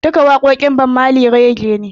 Duka waƙoƙin Bob Marley Rege ne